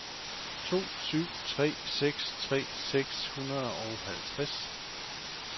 to syv tre seks tres seks hundrede og halvtreds